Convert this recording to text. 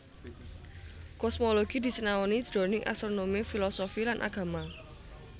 Kosmologi disinaoni jroning astronomi filosofi lan agama